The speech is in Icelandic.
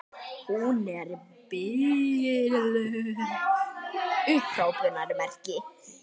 Hún er biluð!